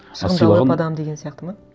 адам деген сияқты ма